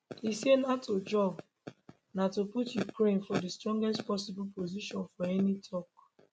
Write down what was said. e say nato job na to put ukraine for strongest possible position for any tok